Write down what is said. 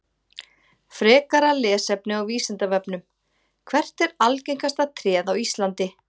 Frekara lesefni á Vísindavefnum: Hvert er algengasta tréð á Íslandi?